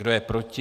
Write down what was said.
Kdo je proti?